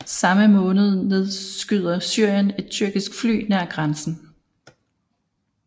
Samme måned nedskyder Syrien et tyrkisk fly nær grænsen